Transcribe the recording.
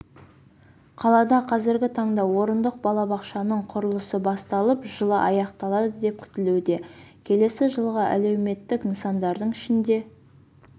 қалада қазіргі таңда орындық балабақшаның құрылысы басталып жылы аяқталады деп күтілуде келесі жылға әлеуметтік нысандардың ішінде